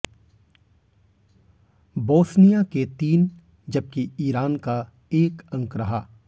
Bosnia के तीन जबकि ईरान का एक अंक रहा